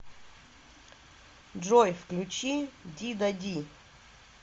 джой включи ди да ди